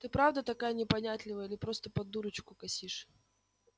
ты правда такая непонятливая или просто под дурочку косишь